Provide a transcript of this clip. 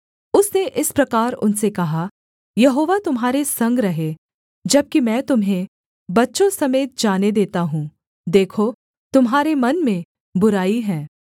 उसने इस प्रकार उनसे कहा यहोवा तुम्हारे संग रहे जबकि मैं तुम्हें बच्चों समेत जाने देता हूँ देखो तुम्हारे मन में बुराई है